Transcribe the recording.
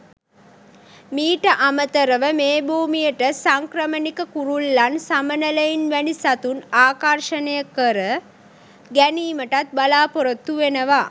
මීට අමතරව මේ භූමියට සංක්‍රමණික කුරුල්ලන් සමනළයින් වැනි සතුන් ආකර්ශනය කර ගැනීමටත් බලාපොරොත්තු වෙනවා.